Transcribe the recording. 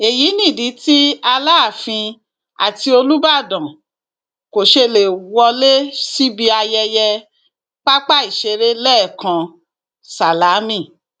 èyí nìdí tí aláàfin àti olùbàdàn kò ṣe lè wọlé síbi ayẹyẹ pápáìṣeré lẹkàn sálámí